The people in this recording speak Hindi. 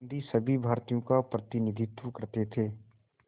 गांधी सभी भारतीयों का प्रतिनिधित्व करते थे